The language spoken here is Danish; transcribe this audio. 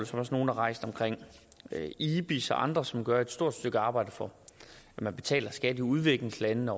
som nogle har rejst om ibis og andre som gør et stort stykke arbejde for at man betaler skat i udviklingslandene